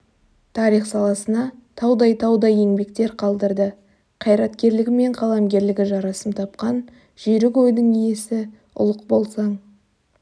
тарих саласына таудай-таудай еңбектер қалдырды қайраткерлігі мен қаламгерлігі жарасым тапқан жүйрік ойдың иесі ұлық болсаң